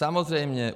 Samozřejmě.